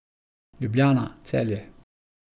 Ljubljana, Celje.